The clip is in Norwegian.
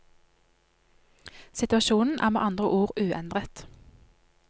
Situasjonen er med andre ord uendret.